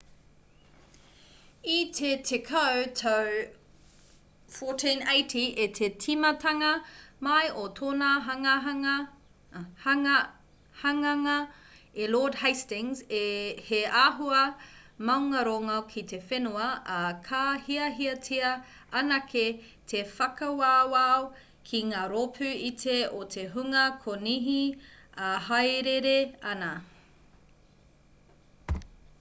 i te tekau tau 1480 i te tīmatanga mai o tōna hanganga e lord hastings he āhua maungārongo ki te whenua ā ka hiahiatia anake te whakawawao ki ngā rōpū iti o te hunga konihi e hāereere ana